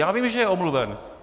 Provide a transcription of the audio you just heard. Já vím, že je omluven.